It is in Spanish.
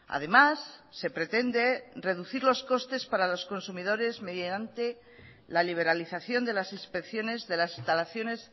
además se pretende reducir los costes para los consumidores mediante la liberalización de las inspecciones de las instalaciones